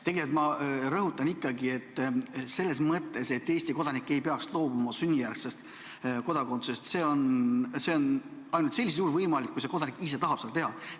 Tegelikult ma rõhutan ikkagi, et Eesti kodanik ei peaks loobuma sünnijärgsest kodakondsusest, see on ainult sellisel juhul võimalik, kui kodanik ise tahab seda teha.